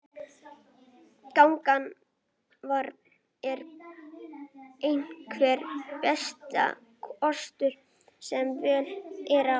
Gangan er einhver besti kostur sem völ er á.